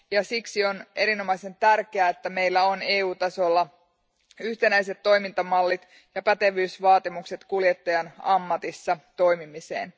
Siksi on erinomaisen tärkeää, että meillä on EUn tasolla yhtenäiset toimintamallit ja pätevyysvaatimukset kuljettajan ammatissa toimimiseen.